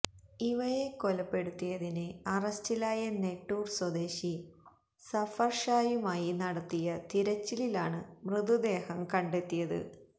ഇവയെ കൊലപ്പെടുത്തിയതിന് അറസ്റ്റിലായ നെട്ടൂർ സ്വദേശി സഫർ ഷായുമായി നടത്തിയ തിരച്ചിലിലാണ് മൃതദേഹം കണ്ടെത്തിയത്